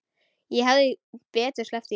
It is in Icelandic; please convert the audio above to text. Ég hefði betur sleppt því.